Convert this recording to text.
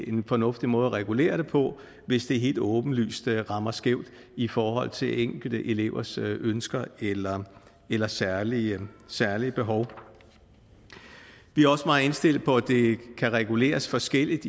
en fornuftig måde at regulere på hvis det helt åbenlyst rammer skævt i forhold til enkelte elevers ønsker eller eller særlige særlige behov vi er også meget indstillet på at det kan reguleres forskelligt